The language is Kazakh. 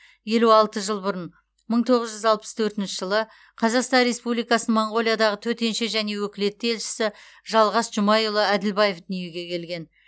елу алты жыл бұрын мың тоғыз жүз алпыс төртінші қазақстан республикасының моңғолиядағы төтенше және өкілетті елшісі жалғас жұмайұлы әділбаев дүниеге келген